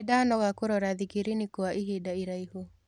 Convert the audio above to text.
Nĩndanoga kũrora thikirini kwa ihinda iraihu.